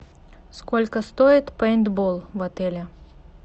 сколько стоит пейнтбол в отеле